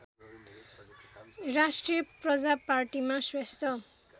राष्ट्रिय प्रजापार्टीमा श्रेष्ठ